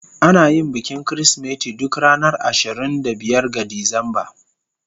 Ana yin bikin Kirsimeti duk ranar ashirin da biyar ga Disamba.